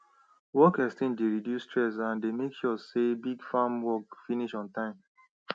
work exchange dey reduce stress and dey make sure say big farm work finish on time